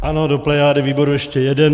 Ano, do plejády výboru ještě jeden.